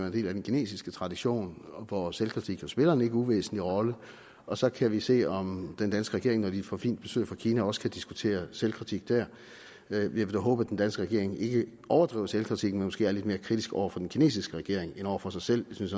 en del af den kinesiske tradition hvor selvkritik spiller en ikke uvæsentlig rolle og så kan vi se om den danske regering når de får fint besøg fra kina også kan diskutere selvkritik der jeg vil da håbe at den danske regering ikke overdriver selvkritikken men måske er lidt mere kritisk over for den kinesiske regering end over for sig selv det synes